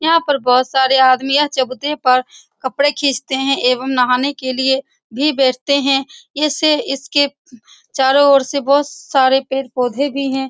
यहाँ पर बहुत सारे आदमी है यह चबूतरे पर कपड़े फीचतें है एवं नहाने के लिए भी बैठते हैं इससे इसके चारों ओर से पेड़-पौधे भी हैं।